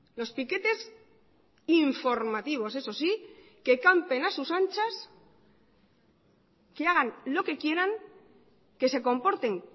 los piquetes informativos eso sí que campen a sus anchas que hagan lo que quieran que se comporten